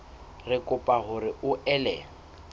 re kopa hore o ele